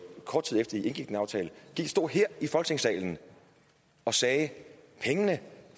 kort tid efter i indgik en aftale stod her i folketingssalen og sagde at pengene